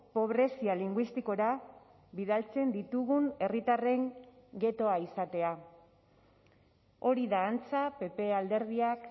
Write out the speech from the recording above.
pobrezia linguistikora bidaltzen ditugun herritarren ghettoa izatea hori da antza pp alderdiak